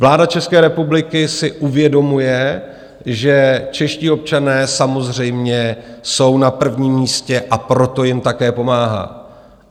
Vláda České republiky si uvědomuje, že čeští občané samozřejmě jsou na prvním místě, a proto jim také pomáhá.